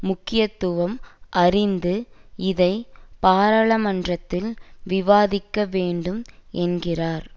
முக்கியத்துவம் அறிந்து இதை பாராளுமன்றத்தில் விவாதிக்கவேண்டும் என்கிறார்